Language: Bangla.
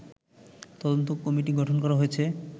তদন্ত কমিটি গঠন করা হয়েছে